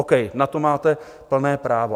OK, na to máte plné právo.